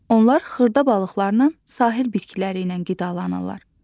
Onlar xırda balıqlarla, sahil bitkiləri ilə qidalanırlar.